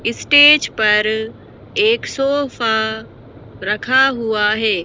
ई पर एक सोफा रखा हुआ है।